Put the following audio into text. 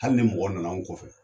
Hali ni mɔgɔ na na anw kɔfɛ.